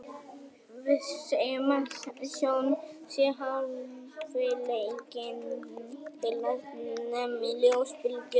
Við segjum að sjón sé hæfileikinn til að nema ljósbylgjur.